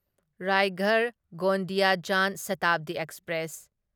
Raigarh Gondia Jan Shatabdi express